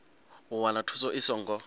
u wana thuso i songo